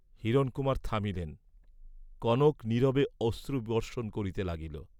হিরণকুমার থামিলেন, কনক নীরবে অশ্রুবর্ষণ করিতে লাগিল।